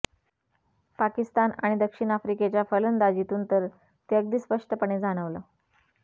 पाकिस्तान आणि दक्षिण आफ्रिकेच्या फलंदाजीतून तर ते अगदी स्पष्टपणे जाणवलं